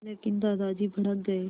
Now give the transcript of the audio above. लेकिन दादाजी भड़क गए